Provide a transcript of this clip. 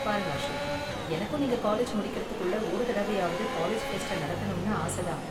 பாருங்க அசோக், எனக்கும் நீங்க காலேஜ் முடிக்கறதுக்குள்ள ஒரு தடவையாவது காலேஜ் ஃபெஸ்ட்ட நடத்தணும்னு ஆச தான்.